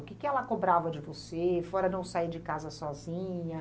O que que ela cobrava de você, fora não sair de casa sozinha?